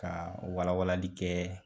Ka wala walali kɛ